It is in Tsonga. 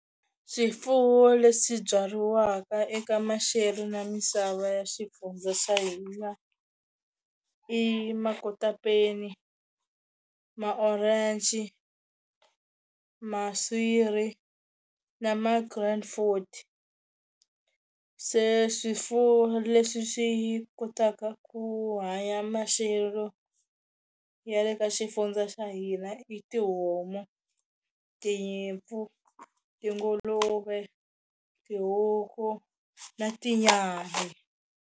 Swifuwo leswi byariwaka eka maxelo na misava ya xifunza swa hina i makotapeni, ma-orange, maswiri na ma grand food se swifuwo leswi swi kotaka ku hanya maxelo ya le ka xifundza xa hina i tihomu, tinyimpfu, tinguluve, tihuku na tinyambe.